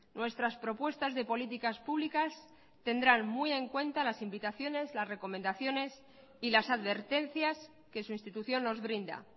nuestras propuestas de políticas públicas tendrán muy en cuenta las invitaciones las recomendaciones y las advertencias que su institución nos brinda